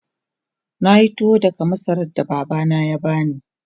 Na yi tuwo daga masarar da Baba ya bani.